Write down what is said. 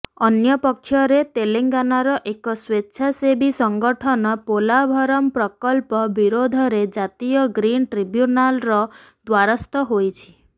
ଅନ୍ୟପକ୍ଷରେ ତେଲେଙ୍ଗାନାର ଏକ ସ୍ୱେଚ୍ଛାସେବୀ ସଂଗଠନ ପୋଲାଭରମ୍ ପ୍ରକଳ୍ପ ବିରୋଧରେ ଜାତୀୟ ଗ୍ରୀନ୍ ଟ୍ରିବ୍ୟୁନାଲ୍ର ଦ୍ୱାରସ୍ଥ ହୋଇଛି